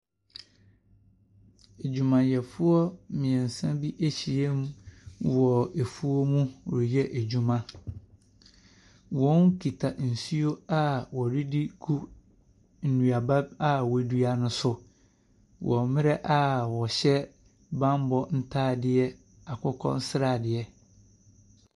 Adwumayɛfoɔ mmeɛnsa bi ahyiam wɔ afuom reyɛ adwuma. Wɔkita nsuo a wɔde regu nnuaba a wɔadua no so wɔ mmerɛ a wɔhyɛ bammɔ ntadeɛ akokɔ sradeɛ.